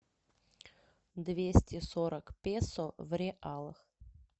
двести сорок песо в реалах